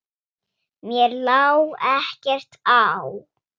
Mér lá ekkert á.